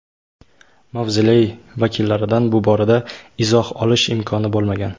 Mavzoley vakillaridan bu borada izoh olish imkoni bo‘lmagan.